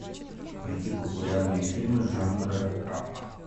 найти популярные фильмы жанра драма